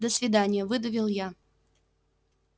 до свидания выдавил я